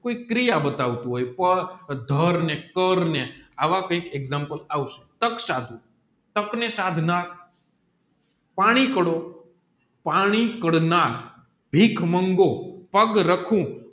કોઈ ક્રિયા બતાવતું હોય કે ધર્મને કારણે આવા કંઈક એક્ષામપ્લે આવશે તક સાધવું તક ને સાધનાર પાણીકળો પાણી કાળનાર ભીખ માંગો